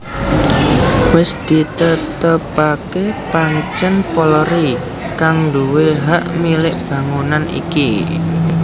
Wis ditetepaké pancèn Polri kang nduwé hak milik bangunan iki